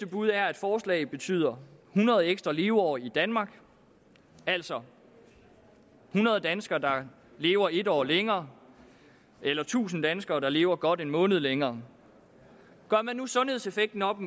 bud er at forslaget betyder hundrede ekstra leveår i danmark altså hundrede danskere der lever en år længere eller tusind danskere der lever godt en måned længere gør man nu sundhedseffekten op